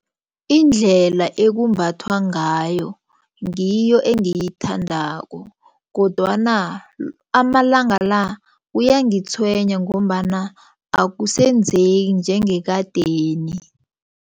Indlela ekumbathwa ngayo ngiyo engiyithandako kodwana amalanga la kuyangitshwenya ngombana akusenzeki njengekadeni.